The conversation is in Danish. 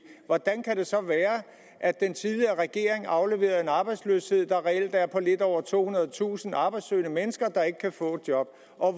hvordan kan det så være at den tidligere regering afleverede en arbejdsløshed der reelt er på lidt over tohundredetusind arbejdssøgende mennesker der ikke kan få job